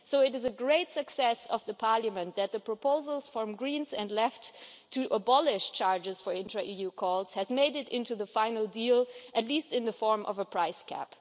So it is a great success for Parliament that the proposals from the Greens and the left to abolish charges for intra-EU calls have made it into the final deal, at least in the form of a price cap.